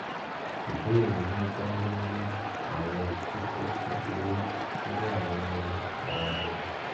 ìbéèrè mi dá lórí àwọn kókó kékeré tó wà nínú ara mi